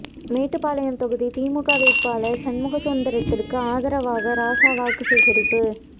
மேட்டுப்பாளையம் தொகுதி திமுக வேட்பாளர் சண்முகசுந்தரத்துக்கு ஆதரவாக ராசா வாக்கு சேகரிப்பு